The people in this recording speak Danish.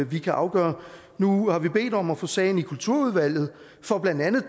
vi kan afgøre nu har vi bedt om at få sagen i kulturudvalget for blandt andet